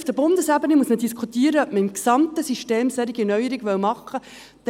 Auf Bundesebene muss man diskutieren, ob man im gesamten System solche Neuerungen machen will.